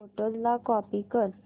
photos ला copy कर